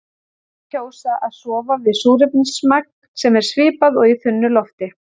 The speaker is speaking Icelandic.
Sumir kjósa að sofa við súrefnismagn sem er svipað og í þunnu lofti.